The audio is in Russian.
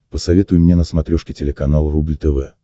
посоветуй мне на смотрешке телеканал рубль тв